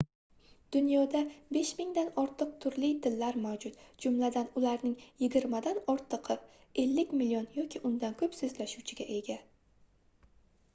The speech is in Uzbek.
dunyoda 5000 dan ortiq turli tillar mavjud jumladan ularning yigirmadan ortigʻi 50 million yoki undan koʻp soʻzlashuvchiga ega